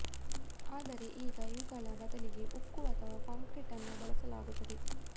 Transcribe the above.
ಆದರೆ ಈಗ ಇವುಗಳ ಬದಲಿಗೆ ಉಕ್ಕು ಅಥವಾ ಕಾಂಕ್ರೀಟ್ ಅನ್ನು ಬಳಸಲಾಗುತ್ತದೆ